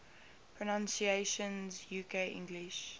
pronunciations uk english